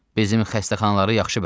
Bizim xəstəxanaları yaxşı bilərəm.